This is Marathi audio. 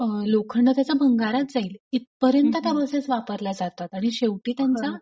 लोखंड त्याच भंगारात जाईल इत पर्यंत त्या बसेस वापरल्या जातात आणि शेवटी त्यांचा